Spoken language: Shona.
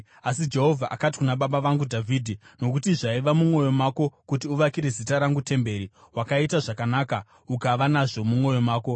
Asi Jehovha akati kuna baba vangu Dhavhidhi, ‘nokuti zvaiva mumwoyo mako kuti uvakire Zita rangu temberi wakaita zvakanaka ukava nazvo mumwoyo mako.